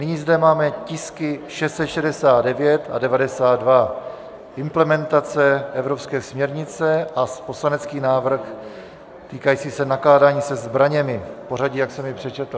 Nyní zde máme tisky 669 a 92 - implementace evropské směrnice a poslanecký návrh týkající se nakládání se zbraněmi, v pořadí, jak jsem jej přečetl.